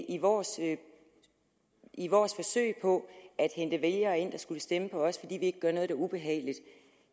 i vores i vores forsøg på at hente vælgere ind der skulle stemme på os fordi vi ikke gør noget der er ubehageligt